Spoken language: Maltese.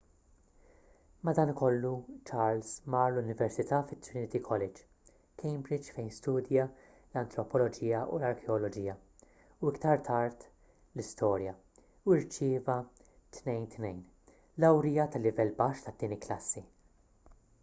madankollu charles mar l-università fi trinity college cambridge fejn studja l-antropoloġija u l-arkeoloġija u iktar tard l-istorja u rċieva 2:2 lawrija ta’ livell baxx tat-tieni klassi